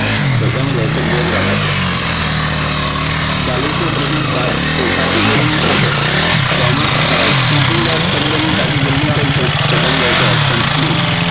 તો તેમ આવશે ગોધરા ખાતે ચાલીશમો પ્રશ્ન સાત એ સાચી જોડણી શોધો તો એમાં છેદીલા શબ્દ ની સાચી જોડણી કઈ છે તો તેમ આવશે option B